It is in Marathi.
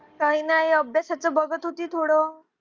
काही नाही अभ्यासाचं बघत होती थोडं